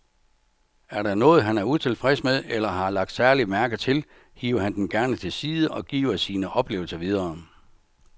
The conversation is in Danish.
Er der noget, han er utilfreds med eller har lagt særlig mærke til, hiver han dem gerne til side og giver sine oplevelser videre.